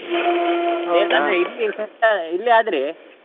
ಇಲ್ಲಿಯಾದ್ರೆ.